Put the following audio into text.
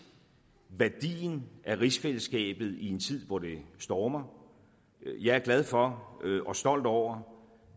værdien af rigsfællesskabet i en tid hvor det stormer jeg er glad for og stolt over